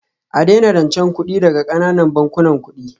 A daina rancen kuɗi daga ƙananan bankunan kuɗi